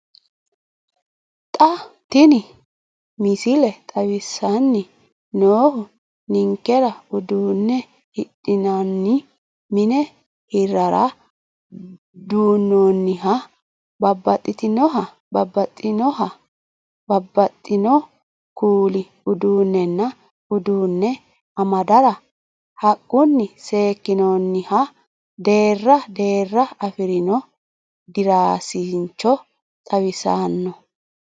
Xa tini misile xawissanni noohu ninkera uduunne hidhinanni mine hirrara duunnoonniha babbaxinoha babbaxxino kuuli uduunnenna uduunne amadara haqqunni seekkinoonniha deerra deerra afirino diraasincho xawissanno.